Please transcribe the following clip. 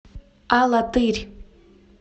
алатырь